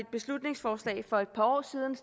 beslutningsforslag fremsat for et par år siden